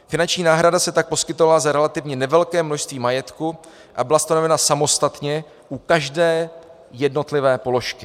Finanční náhrada se tak poskytovala za relativně nevelké množství majetku a byla stanovena samostatně u každé jednotlivé položky.